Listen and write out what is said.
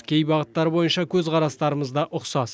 кей бағыттар бойынша көзқарастырымыз да ұқсас